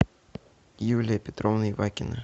юлия петровна ивакина